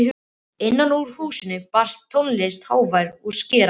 Innan úr húsinu barst tónlistin hávær og skerandi.